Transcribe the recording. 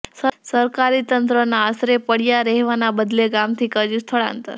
સરકારી તંત્રના આશરે પડ્યા રહેવાના બદલે ગામથી કર્યું સ્થળાંતર